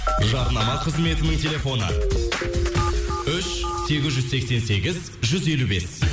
жарнама қызметінің телефоны үш сегіз жүз сексен сегіз жүз елу бес